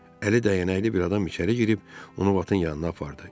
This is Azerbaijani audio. Əli dəyənəkli bir adam içəri girib onu Vatın yanına apardı.